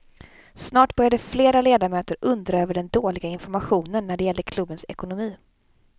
Snart började flera ledamöter undra över den dåliga informationen när det gällde klubbens ekonomi.